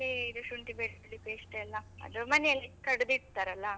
ಆಮೇಲೆ ಇದು ಶುಂಠಿ ಬೆಳ್ಳುಳ್ಳಿ paste ಎಲ್ಲಾ, ಅದು ಮನೆಯಲ್ಲೇ ಕಡಿದಿಡ್ತಾರಲ್ಲ.